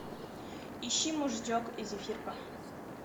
ищи мужичок и зефирка